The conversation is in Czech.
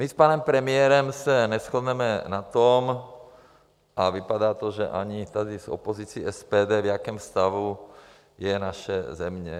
My s panem premiérem se neshodneme na tom, a vypadá to, že ani tady s opozicí SPD, v jakém stavu je naše země.